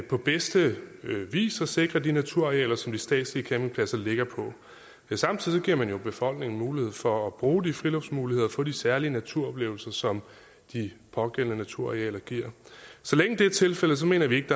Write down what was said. på bedste vis at sikre de naturarealer som de statslige campingpladser ligger på samtidig giver man jo befolkningen mulighed for at bruge de friluftsmuligheder og få de særlige naturoplevelser som de pågældende naturarealer giver så længe det er tilfældet mener vi ikke